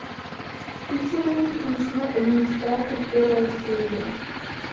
включи мультик ночной администратор первая серия